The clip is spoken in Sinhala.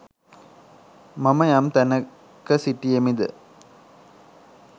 මම යම්තැනක සිටියෙම් ද